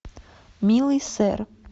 милый сэр